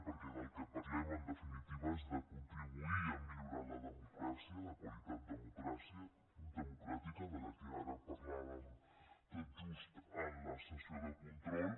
perquè del que parlem en definitiva és de contribuir a millorar la democràcia la qualitat democràtica de què ara parlàvem tot just en la sessió de control